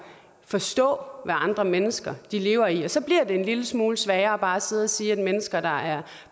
forstå hvad andre mennesker lever i og så bliver det en lille smule sværere bare at sidde og sige at mennesker der er